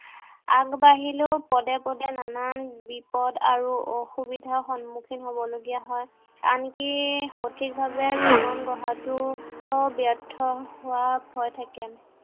আগবাঢ়িলেও পদে পদে নানান বিপদ আৰু অসুবিধাৰ সন্মুখীন হ'বলগীয়া হয়। আনকি সঠিক ভাৱে জীৱন গঢ়াটো ব্য়ৰ্থ হোৱাৰ ভয় থাকে।